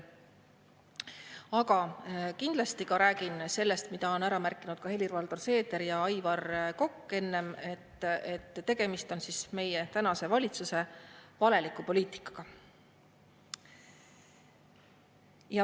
Aga kindlasti ka räägin sellest, mida on enne ära märkinud ka Helir-Valdor Seeder ja Aivar Kokk, et tegemist on meie tänase valitsuse valeliku poliitikaga.